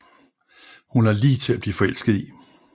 Hun er lige til at blive forelsket i